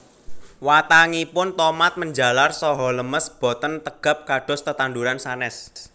Watangipun tomat menjalar saha lemes boten tegap kados tetanduran sanés